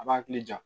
A b'a hakili ja